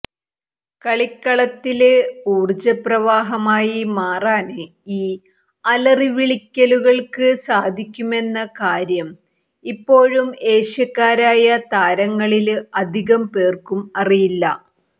കളിക്കളത്തില് ഊര്ജപ്രവാഹമായി മാറാന് ഈ അലറിവിളിക്കലുകള്ക്ക് സാധിക്കുമെന്ന കാര്യം ഇപ്പോഴും ഏഷ്യക്കാരായ താരങ്ങളില് അധികം പേര്ക്കും അറിയില്ല